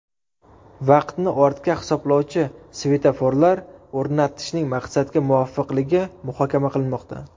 Vaqtni ortga hisoblovchi svetoforlar o‘rnatishning maqsadga muvofiqligi muhokama qilinmoqda.